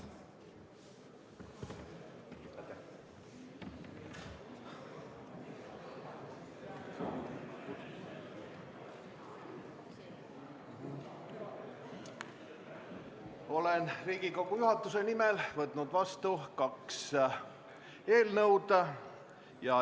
Olen Riigikogu juhatuse nimel võtnud vastu kaks eelnõu.